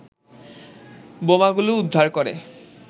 বোমাগুলো উদ্ধার করে